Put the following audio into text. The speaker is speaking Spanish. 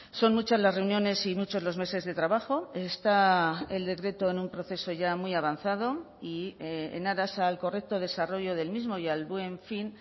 son muchas las reuniones y muchos los meses de trabajo está el decreto en un proceso ya muy avanzado y en aras al correcto desarrollo del mismo y al buen fin